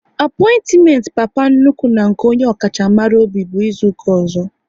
Apointiment Papa nnukwu na nke onye ọkacha maka obi bụ izuka ọzọ